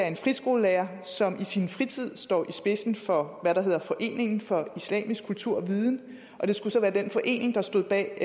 en friskolelærer som i sin fritid står i spidsen for hvad der hedder foreningen for islamisk kultur og viden og det skulle så være den forening der stod bag